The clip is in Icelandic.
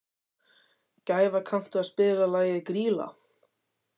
Gæfa, kanntu að spila lagið „Grýla“?